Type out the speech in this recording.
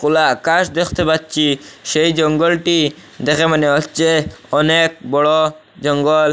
খোলা আকাশ দেখতে পাচ্ছি সেই জঙ্গলটি দেখে মনে হচ্ছে অনেক বড়ো জঙ্গল।